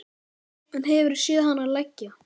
En hefurðu séð hana leggja?